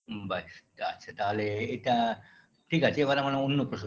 ব্যাস আচ্ছা তাহলে এটা ঠিক আছে এবার আমরা অন্য প্রসঙ্গে